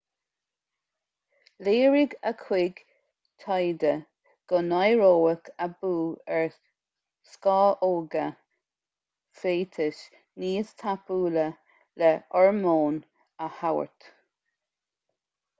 léirigh a chuid taighde go n-éireoidh aibiú ar scamhóga féatais níos tapúla le hormón a thabhairt